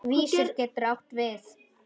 Vísir getur átt við